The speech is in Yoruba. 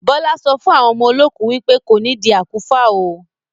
Bọlá sọ fún àwọn ọmọ olókù wípé "kò nidi àkúfà óò".